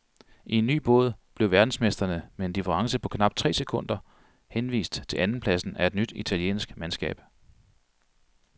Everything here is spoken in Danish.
I en ny båd blev verdensmestrene med en difference på knap tre sekunder henvist til andenpladsen af et nyt italiensk mandskab.